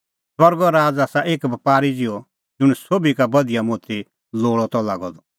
स्वर्गो राज़ आसा एक बपारी ज़िहअ ज़ुंण सोभी का बधिया मोती लोल़अ त लागअ द